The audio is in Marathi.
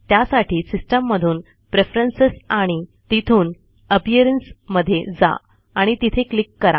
त्यासाठी सिस्टिम मधून प्रेफ्ररन्सेस आणि तिथून अपिअरन्स मध्ये जा आणि तिथे क्लिक करा